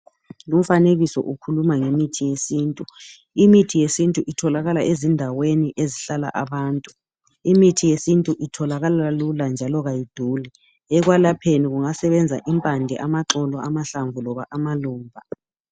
Umfanekiso ukhuluma ngemithi yesintu. Imithi yesintu itholalaka ezindaweni ezihlala abantu. Imithi yesintu itholakala lula njalo kayiduli. Ekwelapheni kungasebenza impande, amaxolo, amahlamvu loba amaluba.